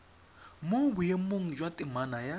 mo boemong jwa temana ya